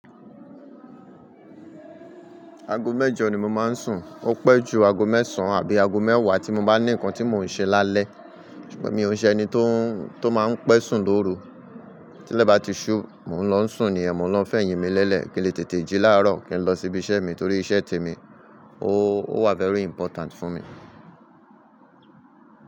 Aago mẹ́jọ ni mo máa ń sùn. Ó pẹ́ ju aago mẹ́sàn-án àbí aago mẹ́wàá tí mo bá ní nǹkan tí mò ń ṣe lálẹ́. Ṣùgbọ́n mi ò ṣe ẹni tó, tó máa ń pẹ́ sùn lóru. Tí ilẹ̀ bá ti ṣú, mò ń lọ sùn ni yen, mo ń lọ fẹ̀yìn mi lẹ́lẹ̀ kí n lè tètè jí láàárọ̀ kí n lọ síbi iṣẹ́ mi torí iṣẹ́ te mi ó, ó wà very important fún mi.